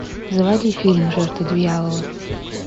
заводи фильм жертвы дьявола